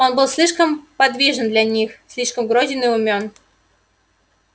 он был слишком подвижен для них слишком грозен и умён